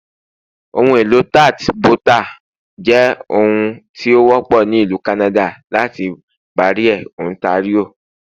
Ohunelo tart bota jẹ òun ti o wọpọ ni Ilu Kanada lati Barrie, Ontario